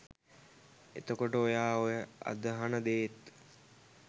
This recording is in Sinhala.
එතකොට ඔයා ඔය අදහන දේත්